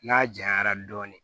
N'a janyara dɔɔnin